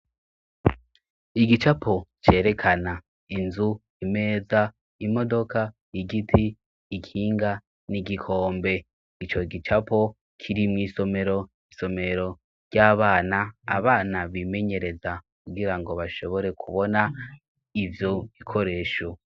Igicapo cerekana inzu imeza imodoka igiti ikinga n'igikombe icyo gicapo kiri mu isomero isomero ry'abana abana bimenyereza kugira ngo bashobore kubona ivyo bikoresho.